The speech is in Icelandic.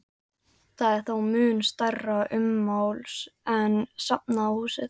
Það er þó mun stærra ummáls en safnahúsið.